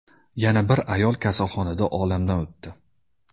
Yana bir ayol kasalxonada olamdan o‘tdi.